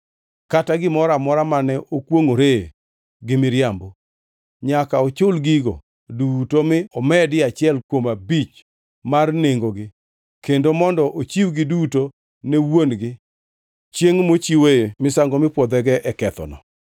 kata gimoro amora mane okwongʼoree gi miriambo. Nyaka ochul gigo duto mi omedie achiel kuom abich mar nengogi kendo mondo ochiwgi duto ne wuon-gi chiengʼ mochiwoe misango mipwodhego e kethoneno.